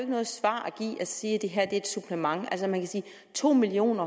noget svar at give at sige at det her er et supplement altså man kan sige at to million